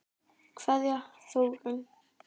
Kveðja, Þórunn.